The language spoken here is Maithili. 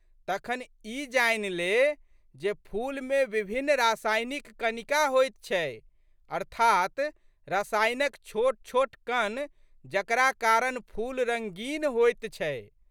तखन ई जानि ले जे फूलमे विभिन्न रासायनिक कणिका होइत छै अर्थात् रसायनक छोटछोट कण जकरा कारण फूल रंगीन होइत छै।